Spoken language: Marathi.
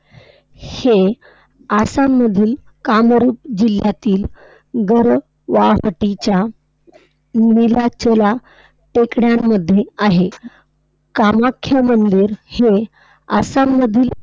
हे आसाम मधील कामोरी जिल्ह्यातील गरवाहटीच्या नीलांचला टेकड्यांमध्ये आहे. कामाख्या मंदिर हे आसाममधील